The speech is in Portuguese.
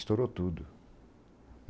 Estourou tudo.